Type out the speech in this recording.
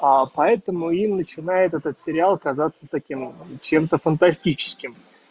а поэтому и начинает этот сериал казаться таким чем-то фантастическим